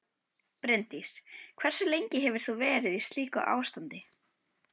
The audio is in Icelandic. Bryndís: Hversu lengi hefur þú verið í slíku ástandi?